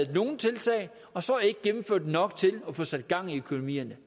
i nogle tiltag og så ikke gennemført nok til at få sat gang i økonomierne